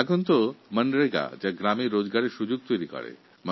আজকাল মনরেগা প্রকল্পের মাধ্যমে গ্রামীণ মানুষের রোজগার সুনিশ্চিত করা হয়